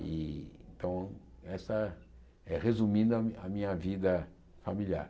E então, essa é resumindo a a minha vida familiar.